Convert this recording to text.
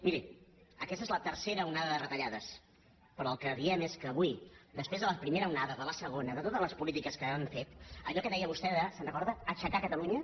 miri aquesta és la tercera onada de retallades però el que diem és que avui després de la primera onada de la segona de totes les polítiques que han fet allò que deia vostè de se’n recorda aixecar catalunya